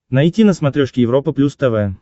найти на смотрешке европа плюс тв